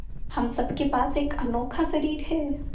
हम सब के पास एक अनोखा शरीर है